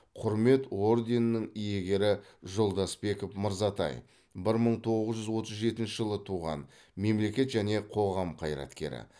құрмет орденінің иегері жолдасбеков мырзатай бір мың тоғыз жүз отыз жетінші жылы туған мемлекет және қоғам қайраткері